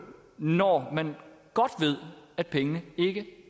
når man godt ved at pengene ikke